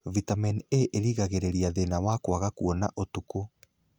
Vitamini A irĩgagĩrĩria thina wa kwaga kuona ũtukũ